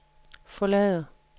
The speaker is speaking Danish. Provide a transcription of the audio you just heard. forlader